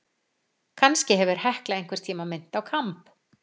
Kannski hefur Hekla einhvern tíma minnt á kamb.